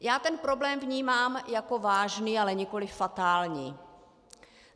Já ten problém vnímám jako vážný, ale nikoliv fatální.